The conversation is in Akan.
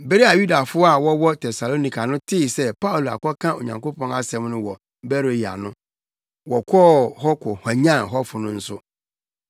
Bere a Yudafo a wɔwɔ Tesalonika no tee sɛ Paulo akɔka Onyankopɔn asɛm no wɔ Beroia no, wɔkɔɔ hɔ kɔhwanyan hɔfo no nso.